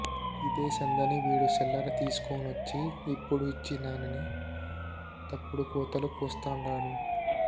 యిదే సందని వీడు సిల్లర తీస్కోనొచ్చి యిప్పుడు యిచ్చినానని తప్పుడు కూతలు కూస్తాండాడు